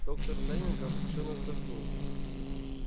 доктор лэннинг облегчённо вздохнул